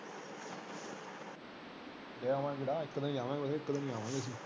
ਜੇ ਜਾਵਾਂਗੇ ਤਾ ਇੱਕ ਦਿਨ ਹੀ ਜਾਵਾਂਗੇ ਇੱਕ ਦਿਨ ਹੀ ਆਵਾਂਗੇ ਅਸੀ।